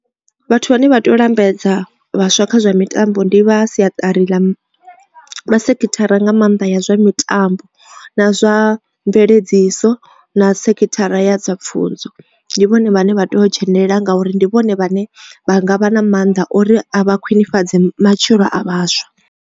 Vhathu vhane vha tea u lambedza vhaswa kha zwa mitambo ndi vha siatari ḽa vha sekithara nga maanḓa ya zwa mitambo na zwa mveledziso na sekhithara ya dza pfhunzo ndi vhone vhane vha tea u dzhenelela ngauri ndi vhone vhane vha nga vha na maanḓa ori vha khwinefhadze matshilo a vhaswa.